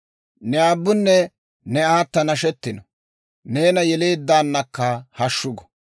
Ne aabbunne ne aata nashetino; neena yeleeddaanakka hashshu gu.